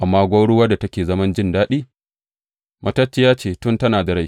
Amma gwauruwar da take zaman jin daɗi, matacciya ce tun tana da rai.